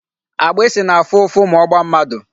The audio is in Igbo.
Agbịsị na-afụ ụfụ ma ọ gbaa mmadụ.